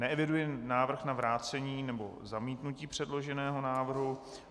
Neeviduji návrh na vrácení nebo zamítnutí předloženého návrhu.